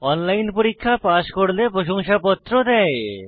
online পরীক্ষা pass করলে প্রশংসাপত্র দেয়